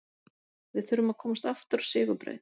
Við þurfum að komast aftur á sigurbraut